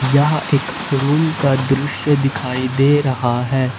यह एक रूम का दृश्य दिखाई दे रहा है।